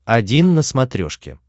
один на смотрешке